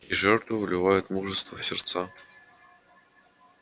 жертвы вливают мужество в сердца